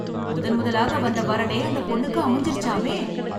முதன் முதலாக வந்த வரனே அந்த பொண்ணுக்கு அமைஞ்சிருச்சாமே!